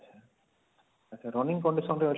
ଆଛା running condition ରେ ଅଛି